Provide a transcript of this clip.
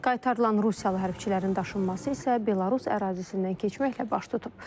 Qaytarılan Rusiyalı hərbçilərin daşınması isə Belarus ərazisindən keçməklə baş tutub.